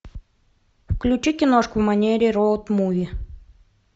включи киношку в манере роуд муви